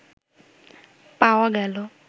পাওয়া গেল